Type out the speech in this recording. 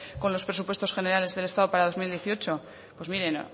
con los presupuestos generales del estado para dos mil dieciocho pues miren